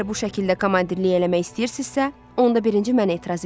Əgər bu şəkildə komandirlik eləmək istəyirsinizsə, onda birinci mənə etiraz eləyirəm.